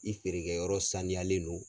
I feerekɛ yɔrɔ saniyalen do.